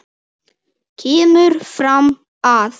kemur fram að